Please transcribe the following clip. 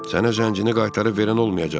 Sənə zəncini qaytarıb verən olmayacaq.